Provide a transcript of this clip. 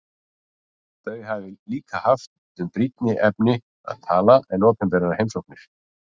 Þau hafi líka haft um brýnni efni að tala en opinberar heimsóknir.